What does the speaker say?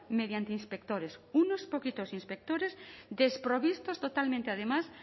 mediante inspectores unos poquitos inspectores desprovistos totalmente además